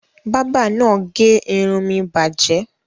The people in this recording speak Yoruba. Bábà náà gé irun mi bàjẹ́?